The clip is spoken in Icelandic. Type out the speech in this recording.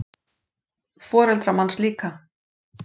Foreldrar manns líka.